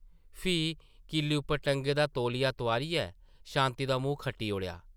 फ्ही किल्ली उप्पर टंगे दा तौलिया तोआरियै शांति दा मूंह् खट्टी ओड़ेआ ।